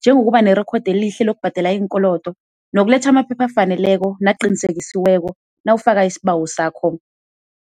njengokuba nerekhodi elihle lokubhadala iinkolodo, nokuletha amaphepha afaneleko naqinisekisiweko nawufaka isibawo sakho.